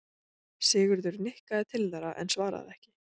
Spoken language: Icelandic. Sigurður nikkaði til þeirra en svaraði ekki.